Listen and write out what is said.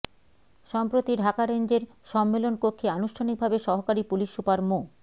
সম্প্রতি ঢাকা রেঞ্জের সম্মেলনকক্ষে আনুষ্ঠানিকভাবে সহকারী পুলিশ সুপার মো